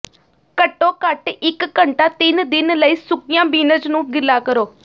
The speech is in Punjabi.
ਘੱਟੋ ਘੱਟ ਇਕ ਘੰਟਾ ਤਿੰਨ ਦਿਨ ਲਈ ਸੁੱਕੀਆਂ ਬੀਨਜ਼ ਨੂੰ ਗਿੱਲਾ ਕਰੋ